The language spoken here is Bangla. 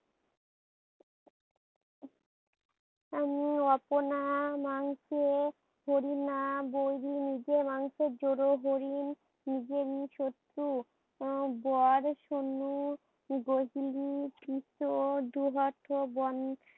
আপনা মাংসে হরিণা বৈরী। নিজের মাংসের জোরে হরিণ নিজেরই শত্রু। উহ বর শূন্য গোধুলি ডোবাত